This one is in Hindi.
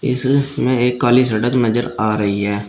इसमें एक काली सड़क नजर आ रही है।